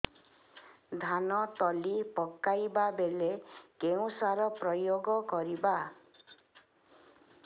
ଧାନ ତଳି ପକାଇବା ବେଳେ କେଉଁ ସାର ପ୍ରୟୋଗ କରିବା